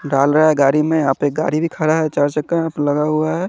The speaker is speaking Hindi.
डाल रहा है गाड़ी में यहां पे गाड़ी भी खड़ा है चार चक्का यहां पे लगा हुआ है।